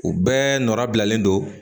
U bɛɛ nɔra bilalen don